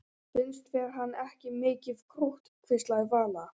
Finnst þér hann ekki mikið krútt? hvíslaði Vala.